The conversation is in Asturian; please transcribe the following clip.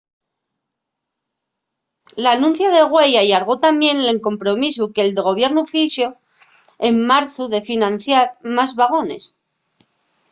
l’anuncia de güei allargó tamién el compromisu que’l gobiernu fixo en marzu de financiar más vagones